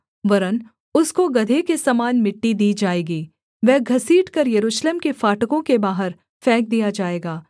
वरन् उसको गदहे के समान मिट्टी दी जाएगी वह घसीट कर यरूशलेम के फाटकों के बाहर फेंक दिया जाएगा